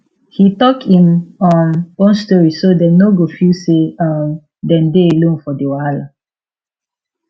he talk im um own story so dem no go feel say um dem dey alone for the wahala